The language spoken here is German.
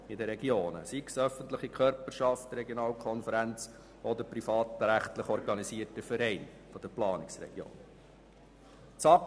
Sie ist also unabhängig davon, ob es sich um öffentliche Körperschaften, Regionalkonferenzen, privatrechtlich organisierte Vereine oder Planungsregionen handelt.